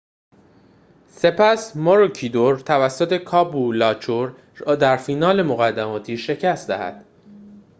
سپس ماروکیدور توانست کابولاچور را در فینال مقدماتی شکست دهد